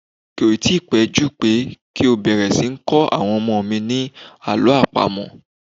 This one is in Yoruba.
Kò ì tí pẹ́ jù pé kí n bẹ̀rẹ̀ sí ní kó àwọn ọmọ mi ni Àlọ́ àpamọ̀.